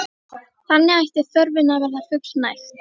Þannig ætti þörfinni að verða fullnægt.